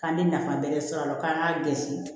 K'an bɛ nafa wɛrɛ sɔrɔ a la k'an ka gɛnsi